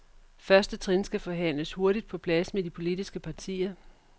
Første trin skal forhandles hurtigt på plads med de politiske partier.